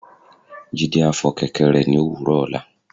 Jide a fo kẹkẹ re ni owúrò ola